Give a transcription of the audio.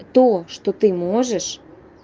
то что ты можешь